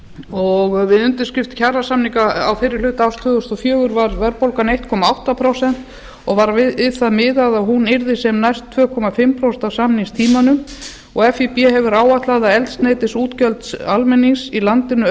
og við undirskrift kjarasamninga á fyrri hluta árs tvö þúsund og fjögur var verðbólgan einn komma átta prósent og var við það miðað að hún yrði sem næst tvö og hálft prósent á samningstímanum og fíb hefur áætlað að eldsneytisútgjöld almennings í landinu